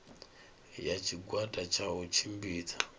ya tshigwada tsha u tshimbidza